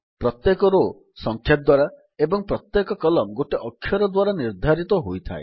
ପ୍ରତ୍ୟେକ ରୋ ସଂଖ୍ୟା ଦ୍ୱାରା ଏବଂ ପ୍ରତ୍ୟେକ କଲମ୍ନ ଗୋଟିଏ ଅକ୍ଷର ଦ୍ୱାରା ନିର୍ଦ୍ଧାରିତ ହୋଇଥାଏ